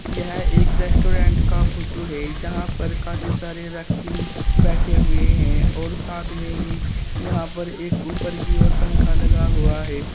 यह एक रेस्टोरेंट का फोटो है जहां पर काफी सारे व्यक्ति बैठे हुए हैं और साथ में ही यहां पर एक ऊपर की ओर पंख लगा हुआ है।